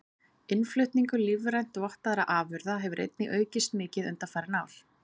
Innflutningur lífrænt vottaðra afurða hefur einnig aukist mikið undanfarin ár.